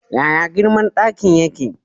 Yaya girman ɗaki yake?